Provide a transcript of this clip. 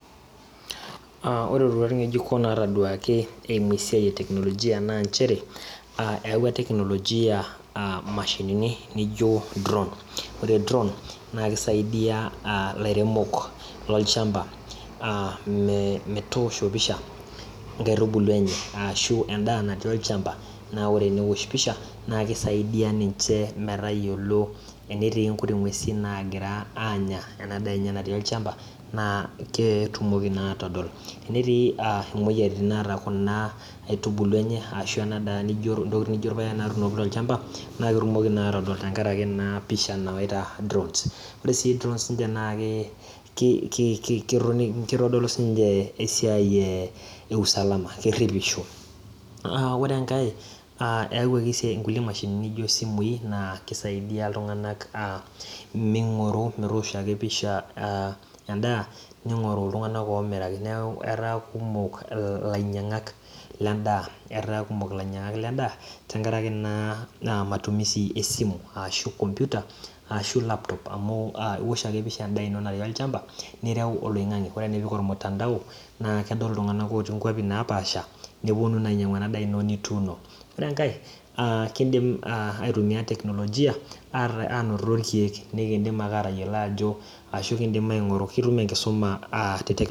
Aa ore iroruat ng'ejuko naataduaki eeimu esiai e technologia naa inchere eyau imashinini naaijio ine dron ore dron naa keisaidia aa ilairemok loonchamba metoosho pisha inkaitubulu enye ashua inkaitubulu olchamba naa teneosh pisha naa keisaidia ninche metayiolo enetii inkuti ng'esin naagira anya ena daa enye natii olchamba naa ketumoki naaatol netii imoyiaritin naata kuna aitubulu enye tolchamba naa ketumo atodol tenkaraki naa pisha nawaita drons ore sii tenkaraki naake keitodolu siininche esiai e usalama ore enkae eewuaki naa meing'oru metoosho ake pisha naa endaa ning'oru iltung'anak oomiraki neeku etaa kumok ilainyiang'ak lendaa tenkaraki naa matumisi esimu ashuu komputa ashuu laptop amu iwosh ake empisha enda ino natii olchamba nireu ormutandao amu ore pee ipik oloing'ange naa kedol iltung'anak otii inkuapi naapasha epuonu naa ainyiang'u ena daa ino nituuno ore enkae keidim aatumiya technologia aanoto irkiek ashu keidimi ake aing'uru ketum enkisuma aa nakeiteng'en